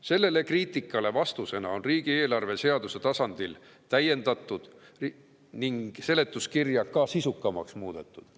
Sellele kriitikale vastusena on riigieelarvet seaduse tasandil täiendatud ning seletuskirja tõepoolest ka sisukamaks muudetud.